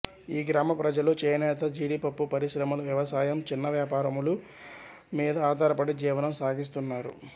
ఈ గ్రామ ప్రజలు చేనేత జీడిపప్పు పరిశ్రమలు వ్యవసాయం చిన్న వ్యాపారముల మీద ఆధారపడి జీవనం సాగిస్తున్నారు